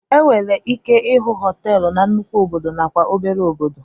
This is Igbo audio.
Enwere ike ịhụ hoteelu na nnukwu obodo na kwa obere obodo.